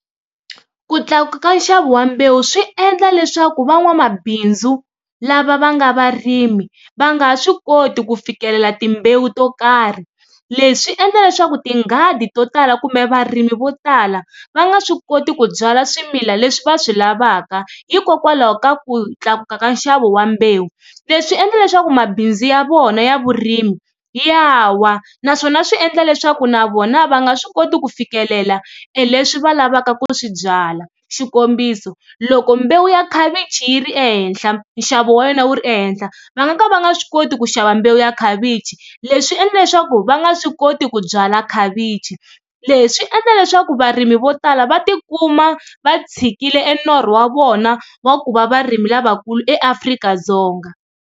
Ku tlakuka ka nxavo wa mbewu swi endla leswaku van'wamabindzu lava va nga varimi va nga swi koti ku fikelela timbewu to karhi leswi endla leswaku tinghadi to tala kumbe varimi vo tala va nga swi koti ku byala swimila leswi va swi lavaka hikokwalaho ka ku tlakuka ka nxavo wa mbewu. Leswi endla leswaku mabindzu ya vona ya vurimi ya wa naswona swi endla leswaku na vona va nga swi koti ku fikelela leswi va lavaka ku swi byala. Xikombiso loko mbewu ya khavichi yi ri ehenhla nxavo wa yona wu ri ehenhla va nga ka va nga swi koti ku xava mbewu ya khavichi leswi endla leswaku va nga swi koti ku byala khavichi, leswi endla leswaku varimi vo tala va tikuma va tshikile e norho wa vona wa ku va varimi lavakulu eAfrika-Dzonga.